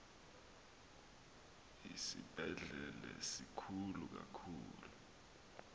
isibhedlele sikhulu kakhulu